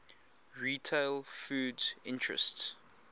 retail foods interests